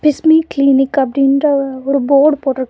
Bismi clinic அப்டின்ற ஒரு board போட்டுருக்.